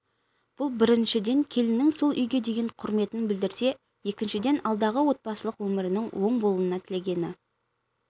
бұл біріншіден келіннің сол үйге деген құрметін білдірсе екіншіден алдағы отбасылық өмірінің оң болуын тілегені